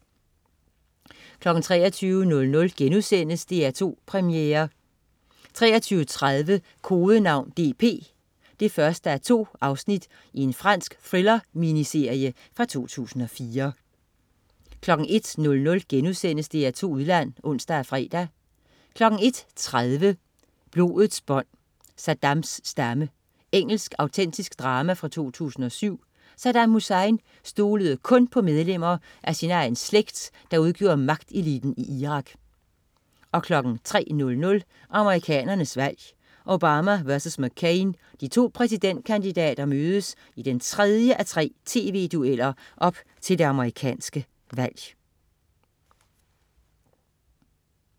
23.00 DR2 Premiere* 23.30 Kodenavn DP 1:2. Fransk thriller-miniserie fra 2004 01.00 DR2 Udland* (ons og fre) 01.30 Blodets bånd. Saddams stamme. Engelsk autentisk drama fra 2007. Saddam Hussein stolede kun på medlemmer af sin egen slægt, der udgjorde magteliten i Irak 03.00 Amerikanernes valg: Obama versus McCain. De to præsidentkandidater mødes i den tredje af tre tv-dueller op til det amerikanske valg